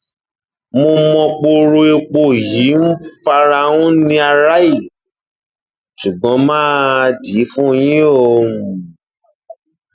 mo mọ poro epo yìí ń fara um ní aráàlú ṣùgbọn má a dì í fún yín o um